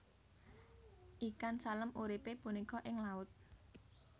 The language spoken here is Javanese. Ikan salem uripe punika ing laut